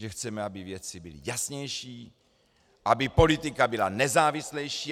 Že chceme, aby věci byly jasnější, aby politika byla nezávislejší.